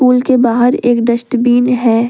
के बाहर एक डस्टबिन है।